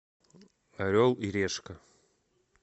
орел и решка